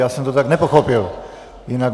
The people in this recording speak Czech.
Já jsem to tak nepochopil.